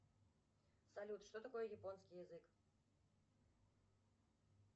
салют что такое японский язык